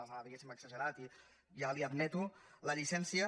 les ha diguéssim exagerat i ja li admeto la llicència